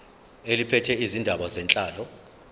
eliphethe izindaba zenhlalo